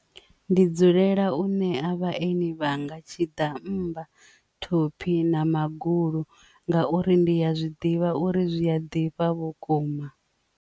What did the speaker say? Ndi dzulela u ṋea vhaeni vhanga tshiḓammba thophi na magulu ngauri ndi ya zwiḓivha uri zwia ḓifha vhukuma.